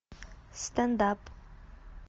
стендап